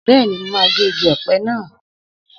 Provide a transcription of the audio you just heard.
Bẹ́ẹ̀ni, mo máa gé igi ọ̀pẹ naa.